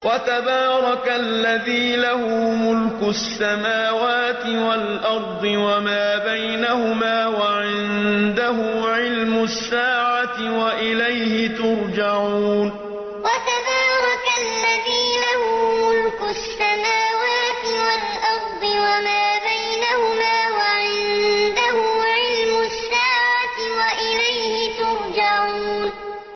وَتَبَارَكَ الَّذِي لَهُ مُلْكُ السَّمَاوَاتِ وَالْأَرْضِ وَمَا بَيْنَهُمَا وَعِندَهُ عِلْمُ السَّاعَةِ وَإِلَيْهِ تُرْجَعُونَ وَتَبَارَكَ الَّذِي لَهُ مُلْكُ السَّمَاوَاتِ وَالْأَرْضِ وَمَا بَيْنَهُمَا وَعِندَهُ عِلْمُ السَّاعَةِ وَإِلَيْهِ تُرْجَعُونَ